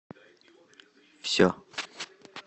все